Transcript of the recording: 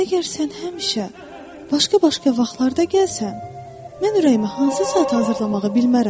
Əgər sən həmişə başqa-başqa vaxtlarda gəlsən, mən ürəyimi hansı saata hazırlamağı bilmərəm.